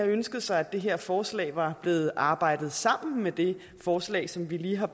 ønsket sig at det her forslag var blevet arbejdet sammen med det forslag som vi lige har